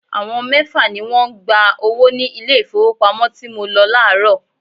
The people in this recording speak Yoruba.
Àwọn mẹ́fà ni wọ́n ń gba owó ní ilé ìfowópamọ́ tí mo lọ láàárọ̀.